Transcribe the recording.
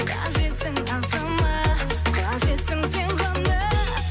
қажетсің ағзама қажетсің сен ғана